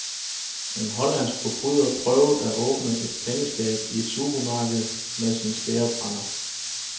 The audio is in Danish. En hollandsk forbryder prøvede at åbne et pengeskab i et supermarked med sin skærebrænder.